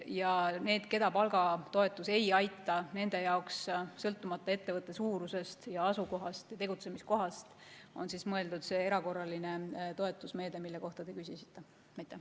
Ja need, keda palgatoetus ei aita, nende jaoks, sõltumata ettevõtte suurusest ja asukohast või tegutsemiskohast, on mõeldud see erakorraline toetusmeede, mille kohta te küsisite.